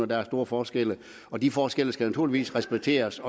der er store forskelle og de forskelle skal naturligvis respekteres